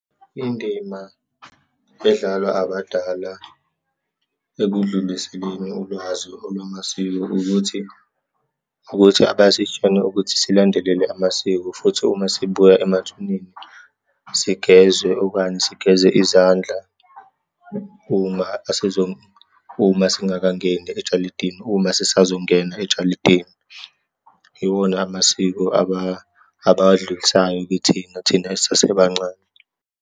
Indima edlalwa abadala ekudluliseleni ulwazi olwamasiko ukuthi, ukuthi abasitshele ukuthi silandelele amasiko. Futhi uma sibuya emathuneni sigezwe, okanye sigeze izandla uma uma singakangeni ejalidini, uma sisazongena ejalidini. Iwona amasiko abawadlulisayo kithina, thina esisasebancane.